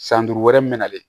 San duuru wɛrɛ min mɛna ale